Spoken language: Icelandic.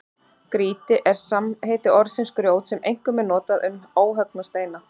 Grýti er samheiti orðsins grjót sem einkum er notað um óhöggna steina.